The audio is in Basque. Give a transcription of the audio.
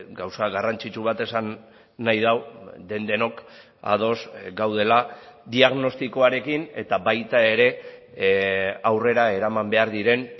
gauza garrantzitsu bat esan nahi du den denok ados gaudela diagnostikoarekin eta baita ere aurrera eraman behar diren